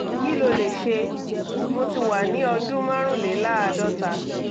kí ló lè ṣe? mo ti wà ní ọdún márùnléláàádọ́ta